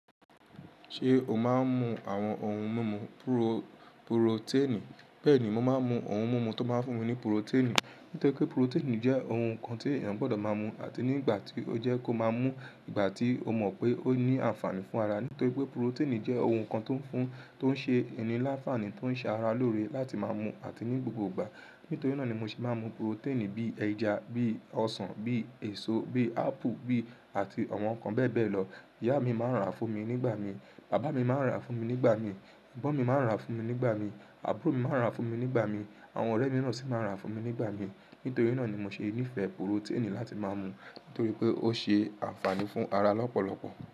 Ṣé o máa ń mu àwọn oun mímu púró-puroténì? Bẹ́ẹ̀ ni, mo máa ń mu òun mímu tó máa ń fún mi ní puroténì. Nítorí pé puroténì jẹ́ oun kan tí èèyàn gbọdọ̀ máa mú àti nígbà tí ó jẹ́ kó máa mú, ìgbà tí o mọ̀ pé ó ní ànfààní fún ara. Nítorí pé puroténì jẹ́ oun kan tó ń fún, tó ń ṣe ní láfààní, tó ń ṣe ara lóore láti máa mú àti ní gbogbo ìgbà. Nítorí náà ni mo sì máa ń mu puroténì bí i ẹja, bí i ọsàn, bí i èso, bí i Apple, bí i àti àwọn nǹkan bẹ́ẹ̀ bẹ́ẹ̀ lọ. Ìyá mi máa ń rà fún mi nígbà mi. Bàbá mi máa ń rà fún mi nígbà mi. Ẹ̀gbọ́n mi máa ń rà fún mi nígbà mi. Àbúrò mi máa ń rà fún mi nígbà mi. Àwọn ọ̀rẹ́ mi náà sì máa ń rà fún mi nígbà mi. Nítorí náà ni mo ṣe nífẹ̀ẹ́ puroténì láti máa mú. Nítorí pé ó ṣe ànfààní fún ara lọ́pọ̀lọpọ̀.